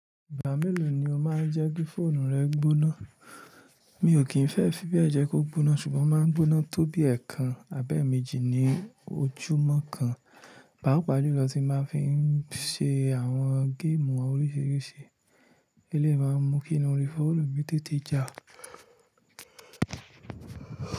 Ìgbà mélòó ni o máa ń jẹ́ kí fóònù rẹ gbóná? Mi ò kí ń fẹ́ fí bẹ́ẹ̀ jẹ́ kó gbóná ṣùgbọ́n ó máa ń gbóná tó bí ẹẹkan àbẹ́ẹ̀méjì ní ojúmọ́ kan. Pàápàá jùlọ tí máa fi ń ṣe àwọn géèmù àwọn oríṣiríṣi eléyìí máa n mú kí iná orí fóònù mi tètè já.